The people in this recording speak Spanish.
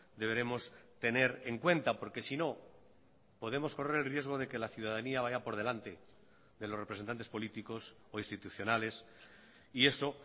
deberemos tener en cuenta porque si no podemos correr el riesgo de que la ciudadanía vaya por delante de los representantes políticos o institucionales y eso